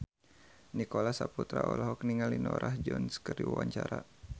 Nicholas Saputra olohok ningali Norah Jones keur diwawancara